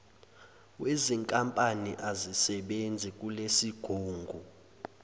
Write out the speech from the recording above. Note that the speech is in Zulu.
wezinkampani azisebenzi kulesigungu